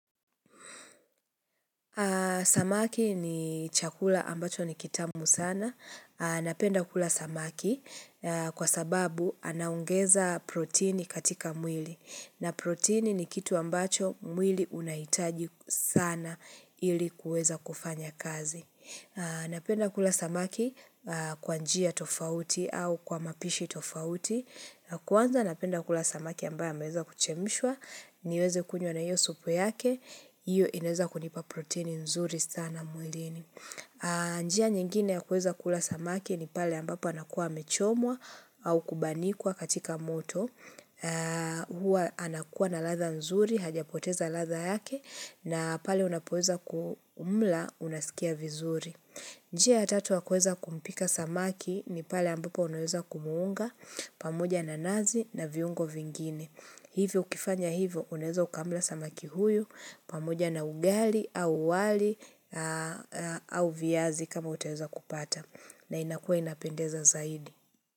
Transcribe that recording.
Samaki ni chakula ambacho ni kitamu sana. Napenda kula samaki kwa sababu anaongeza protini katika mwili. Na protini ni kitu ambacho mwili unahitaji sana ili kuweza kufanya kazi. Napenda kula samaki kwa njia tofauti au kwa mapishi tofauti Kwanza napenda kula samaki ambaye ameweza kuchemishwa niweze kunywa na iyo supu yake Iyo inaeza kunipa proteini nzuri sana mwilini njia nyingine ya kuweza kula samaki ni pale ambapo anakuwa amechomwa au kubanikwa katika moto Hua anakuwa na ladha nzuri, hajapoteza ladha yake na pale unapoeza kuumla unasikia vizuri. Njia ya tatu ya kueza kumpika samaki ni pale ambapo unaweza kumuunga pamoja na nazi na viungo vingine. Hivyo ukifanya hivyo unaeza ukamla samaki huyu pamoja na ugali au wali au viazi kama utaeza kupata. Na inakua inapendeza zaidi.